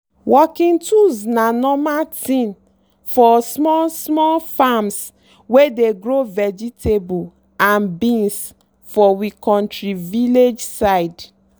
working tools na normal thing for small-small farms wey dey grow vegetable and beans for we kontri village side.